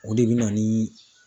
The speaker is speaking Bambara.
O de bɛ na ni